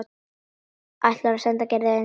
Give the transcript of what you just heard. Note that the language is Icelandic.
Ætlar að senda Gerði eintak.